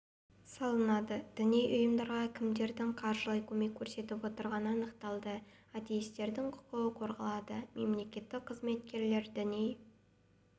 салынады діни ұйымдарға кімдердің қаржылай көмек көрсетіп отырғаны анықталады атеистердің құқығы қорғалады мемлекеттік қызметкерлер діни